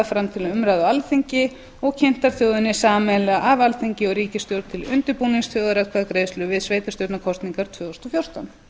fram til umræðu á alþingi og kynntar þjóðinni sameiginlega af alþingi og ríkisstjórn til undirbúnings þjóðaratkvæðagreiðslu við sveitarstjórnarkosningarnar tvö þúsund og fjórtán